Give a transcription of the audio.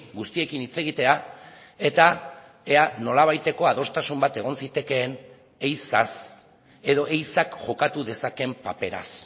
guztiekin hitz egitea eta ea nolabaiteko adostasun bat egon zitekeen ehizaz edo ehizak jokatu dezakeen paperaz